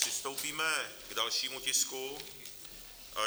Přistoupíme k dalšímu tisku.